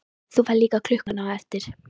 Þú færð líka klukkuna á eftir.